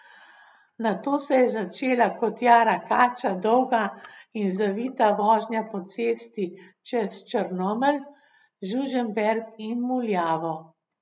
Nato se je začela kot jara kača dolga in zavita vožnja po cesti čez Črnomelj, Žužemberk in Muljavo.